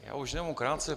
Já už jenom krátce.